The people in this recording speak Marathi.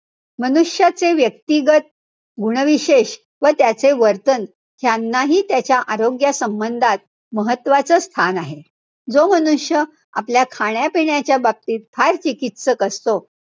मनुष्याचे व्यक्तिगत गुणविशेष व त्याचे वर्तन ह्यांनाही त्याच्या आरोग्यासंबंधात महत्वाचं स्थान आहे. जो मनुष्य आपल्या खाण्यापिण्याच्या बाबतीत फार चिकीत्सक असतो,